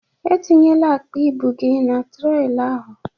Etinyela akpa ibụ gị na trollị ahụ!